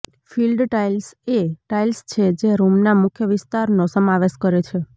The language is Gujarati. ફીલ્ડ ટાઇલ્સ એ ટાઇલ્સ છે જે રૂમના મુખ્ય વિસ્તારનો સમાવેશ કરે છે